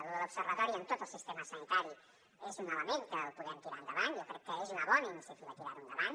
lo de l’observatori en tot el sistema sanitari és un element que el podem tirar endavant jo crec que és una bona iniciativa tirar ho endavant